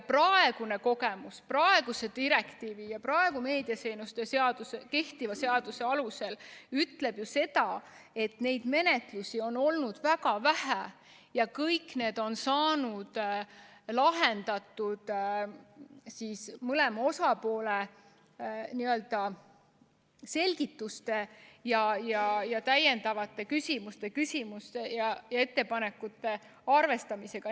Senine kogemus praeguse direktiivi ja praegu kehtiva meediateenuste seadusega näitab seda, et neid menetlusi on olnud väga vähe ja need kõik on lahendatud mõlema osalise selgituste ja täiendavate küsimuste küsimise ja ettepanekute arvestamisega.